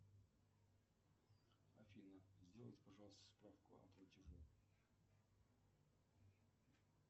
афина сделай пожалуйста справку о платеже